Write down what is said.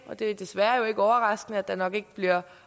og det er jo desværre ikke overraskende at der nok ikke bliver